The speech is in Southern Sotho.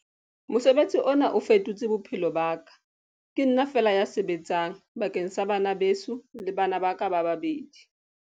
Mosebetsi ona o fetotse bophelo ba ka. Ke nna feela ya sebetsang bakeng sa bana beso le bana ba ka ba babedi.